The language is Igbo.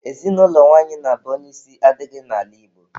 Ezinụlọ nwanyị na-abụ onye isi adịghị n'ala Igbo